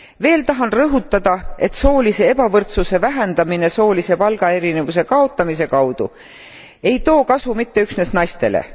Veel tahan rõhutada, et soolise ebavõrdsuse vähendamine soolise palgaerinevuse kaotamise kaudu ei too kasu mitte üksnes naistele.